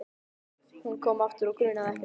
Hún kom aftur og grunaði ekkert.